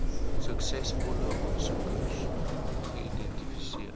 suksesvolle aansoekers geidentifiseer